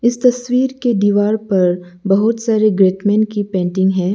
इस तस्वीर की दीवार पर बहुत सारे ग्रेट मेन की पेंटिंग है।